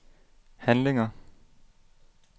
handlinger